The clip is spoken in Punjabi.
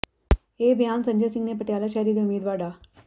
ਇਹ ਬਿਆਨ ਸੰਜੇ ਸਿੰਘ ਨੇ ਪਟਿਆਲਾ ਸ਼ਹਿਰੀ ਦੇ ਉਮੀਦਵਾਰ ਡਾ